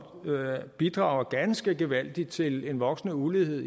bidrager ganske gevaldigt til en voksende ulighed